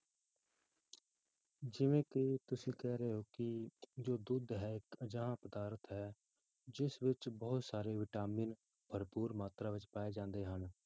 ਜਿਵੇਂ ਕਿ ਤੁਸੀਂ ਕਹਿ ਰਹੇ ਹੋ ਕਿ ਜੋ ਦੁੱਧ ਹੈ ਅਜਿਹਾ ਪਦਾਰਥ ਹੈ ਜਿਸ ਵਿੱਚ ਬਹੁਤ ਸਾਰੇ ਵਿਟਾਮਿਨ ਭਰਪੂਰ ਮਾਤਰਾ ਵਿੱਚ ਪਾਏ ਜਾਂਦੇ ਹਨ।